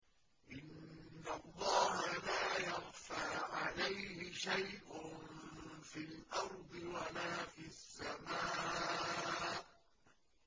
إِنَّ اللَّهَ لَا يَخْفَىٰ عَلَيْهِ شَيْءٌ فِي الْأَرْضِ وَلَا فِي السَّمَاءِ